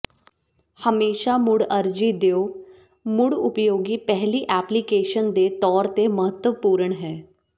ਹਮੇਸ਼ਾ ਮੁੜ ਅਰਜੀ ਦਿਓ ਮੁੜ ਉਪਯੋਗੀ ਪਹਿਲੀ ਐਪਲੀਕੇਸ਼ਨ ਦੇ ਤੌਰ ਤੇ ਮਹੱਤਵਪੂਰਣ ਹੈ